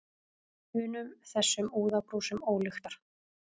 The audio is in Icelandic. unum, þessum úðabrúsum ólyktar.